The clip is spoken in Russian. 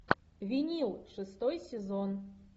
винил шестой сезон